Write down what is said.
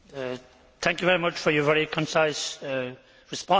Thank you very much for your very concise response.